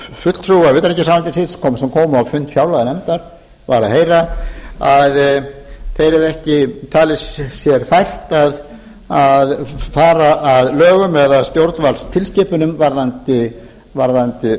fulltrúa utanríkisráðuneytisins sem kom á fund fjárlaganefndar var að heyra að þeir hefðu ekki talið sér fært að fara að lögum eða stjórnvaldstilskipunum varðandi